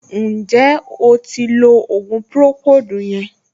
Ǹjẹ́ o ti lo ògùn pùròkóòdù yẹn